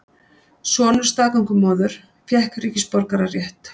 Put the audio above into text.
Sonur staðgöngumóður fékk ríkisborgararétt